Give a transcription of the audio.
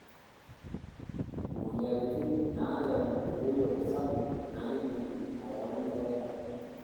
Moyiaritin naayau enkirowuaj sapuk naaidim neyau keeya.